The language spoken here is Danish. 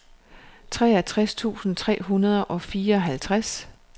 treogtres tusind tre hundrede og fireoghalvtreds